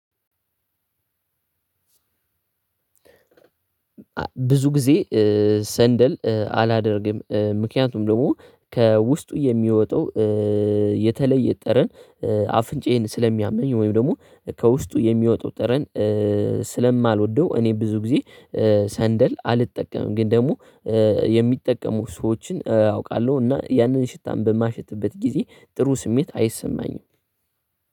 ብዙ ጊዜ። ሰንደል አላደርግም ምክንያቱም ደግሞ ከውስጡ የሚወጣው የተለየ ጠረን አፍንጫዬን ስለሚያመኝ ወይም ደግሞ ከውስጡ የሚወጣው ጠረን ስለማልወደው። እኔ ብዙ ጊዜ ሰንደል አልጠቀምም። ግን ደግሞ የሚጠቀሙ ሰዎችን አውቃለሁ እና ያንን ሽታን በማሸትበት ጊዜ ጥሩ ስሜት አይሰማኝም።